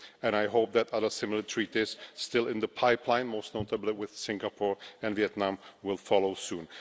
I hope that other similar treaties still in the pipeline most notably with Singapore and Vietnam will follow soon.